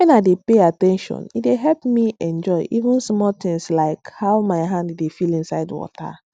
when i dey pay at ten tion e dey help me enjoy even small tins like how my hand dey feel inside water